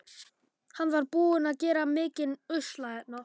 Hann var búinn að gera mikinn usla hérna.